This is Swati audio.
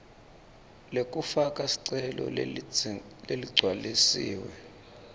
lekufaka sicelo leligcwalisiwe